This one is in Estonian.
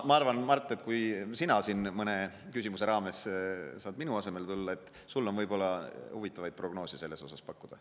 Ma arvan, Mart, et kui sa mõne küsimuse raames saad minu asemel siia tulla, siis on sul huvitavaid prognoose selle kohta pakkuda.